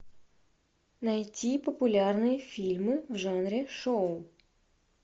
найти популярные фильмы в жанре шоу